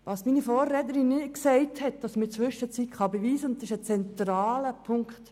Was meine Vorrednerin nicht gesagt hat ist etwas, das man inzwischen beweisen kann, und es ist ein zentraler Punkt.